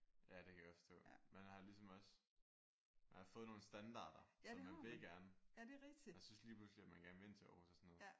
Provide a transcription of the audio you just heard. Ja det kan jeg godt forstå. Man har ligesom også man har fået nogle standarder så man vil gerne. Man synes man lige pludselig at man gerne vil ind til Aarhus og sådan noget